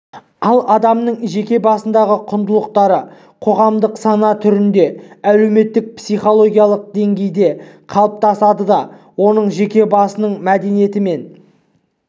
ал адамның жеке басындағы құндылықтары қоғамдық сана түрінде әлеуметтік психологиялық деңгейде қалыптасады да оның жеке басының мәдениеті мен